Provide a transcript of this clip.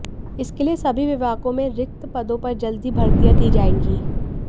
इसके लिए सभी विभागों में रिक्त पदों पर जल्द ही भर्तियां की जाएंगी